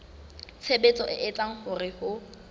tshebetso e etsang hore ho